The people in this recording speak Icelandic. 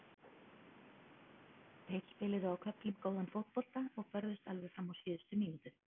Þeir spiluðu á köflum góðan fótbolta og börðust alveg fram á síðustu mínútu.